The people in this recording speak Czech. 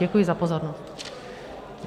Děkuji za pozornost.